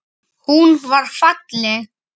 Hún var falleg.